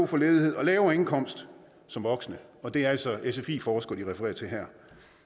for ledighed og lavere indkomst som voksne og det er altså sfi forskere de refererer til her